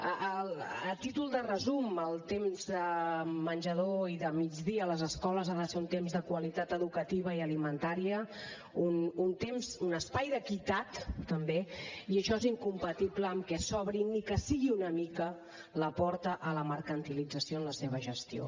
a títol de resum el temps de menjador i de migdia a les escoles ha de ser un temps de qualitat educativa i alimentària un espai d’equitat també i això és incompatible amb el fet que s’obri ni que sigui una mica la porta a la mercantilització en la seva gestió